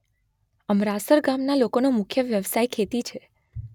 અમરાસર ગામના લોકોનો મુખ્ય વ્યવસાય ખેતી છે.